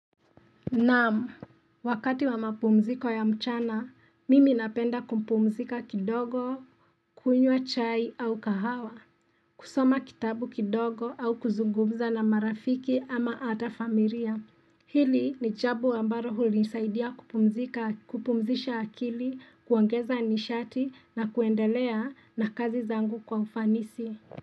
Naam, wakati wa mapumziko ya mchana, mimi napenda kupumzika kidogo, kunywa chai au kahawa, kusoma kitabu kidogo au kuzungumza na marafiki ama hata familia. Hili ni jambo ambalo hunisaidia kupumzika, kupumzisha akili, kuongeza nishati na kuendelea na kazi zangu kwa ufanisi.